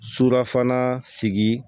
Surafana sigi